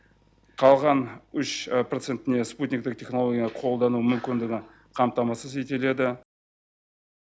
қалған үш процентіне спутниктік технология қолдану мүмкіндігі қамтамасыз етеледі